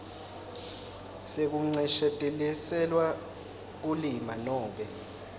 sekuncesheteliselwa kulimala nobe